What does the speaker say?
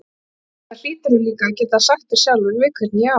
Enda hlýturðu líka að geta sagt þér sjálfur við hvern ég á.